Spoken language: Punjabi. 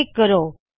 ਕਲਿੱਕ ਕਰੋ